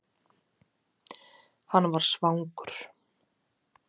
Hann var svangur.